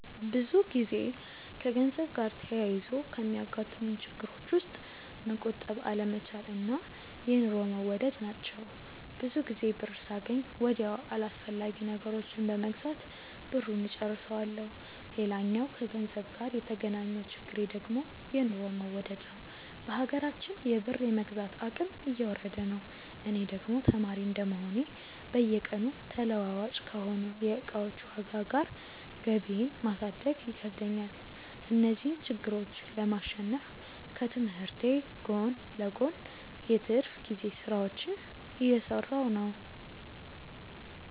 ብዙ ጊዜ ከገንዘብ ጋር ተያይዞ ከሚያጋጥሙኝ ችግሮች ውስጥ መቆጠብ አለመቻል እና የኑሮ መወደድ ናቸው። ብዙ ጊዜ ብር ሳገኝ ወዲያው አላስፈላጊ ነገሮችን በመግዛት ብሩን እጨርሰዋለሁ። ሌላኛው ከገንዘብ ጋር የተገናኘው ችግሬ ደግሞ የኑሮ መወደድ ነዉ። በሀገራችን የብር የመግዛት አቅም እየወረደ ነው። እኔ ደግሞ ተማሪ እንደመሆኔ በየቀኑ ተለዋዋጭ ከሆነው የእቃዎች ዋጋ ጋር ገቢየን ማሳደግ ይከብደኛል። እነዚህን ችግሮች ለማሸነፍ ከትምህርቴ ጎን ለጎን የትርፍ ጊዜ ስራዎችን እየሰራሁ ነው።